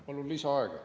Palun lisaaega!